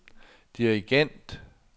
dirigent